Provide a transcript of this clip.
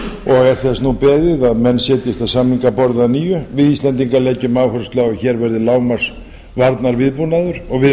er þess nú beðið að menn setjist að samningaborði að nýju við íslendingar leggjum áherslu á að hér verði lágmarks varnarviðbúnaður og við